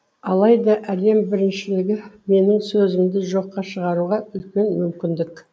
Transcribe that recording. алайда әлем біріншілігі менің сөзімді жоққа шығаруға үлкен мүмкіндік